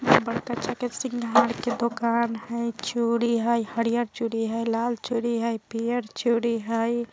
बड़का चाके सिंघार के दोकान हय चूड़ी हय हरियल चूड़ी हय लाल चूड़ी हय पियर चूड़ी हय।